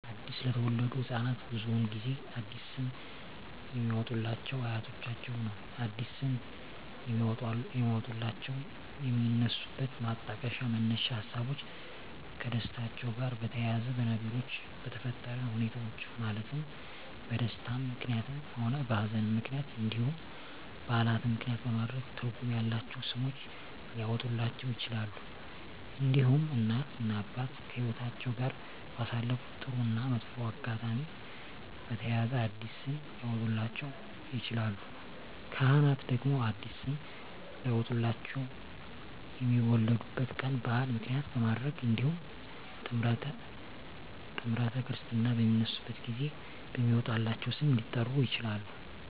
አዲስ ለተወለዱ ህፃናት ብዙውን ጊዜ አዲስ ስም የሚያወጡሏቸው አያቶቻቸውን ነው አዲስ ስም የሚያወጧላቸው የሚነሱበት ማጣቀሻ መነሻ ሀሳቦች ከደስታቸው ጋር በተያያዘ በነገሮች በተፈጠረ ሁኔታዎች ማለትም በደስታም ምክንያትም ሆነ በሀዘንም ምክንያት እንዲሁም በዓላትን ምክንያትም በማድረግ ትርጉም ያላቸው ስሞች ሊያወጡላቸው ይችላሉ። እንዲሁም እናት እና አባት ከህይወትአቸው ጋር ባሳለፉት ጥሩ እና መጥፎ አጋጣሚ በተያያዘ አዲስ ስም ሊያወጡላቸው ይችላሉ። ካህናት ደግሞ አዲስ ስም ሊያወጡላቸው የሚወለዱበት ቀን በዓል ምክንያት በማድረግ እንዲሁም ጥምረተ ክርስትና በሚነሱበት ጊዜ በሚወጣላቸው ስም ሊጠሩ ይችላሉ።